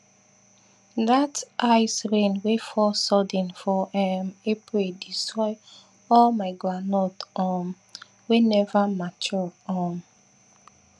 dat ice rain wey fall sudden for um april destroy all my groundnut um wey never mature um